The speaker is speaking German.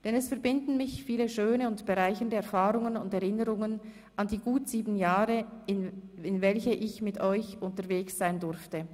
Denn es verbinden mich viele schöne und bereichernde Erfahrungen und Erinnerungen an die gut sieben Jahre, in welchen ich mit euch unterwegs sein durfte.